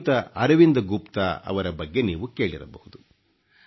ಶ್ರೀಯುತ ಅರವಿಂದ ಗುಪ್ತ ಅವರ ಬಗ್ಗೆ ನೀವು ಕೇಳಿರಬಹುದು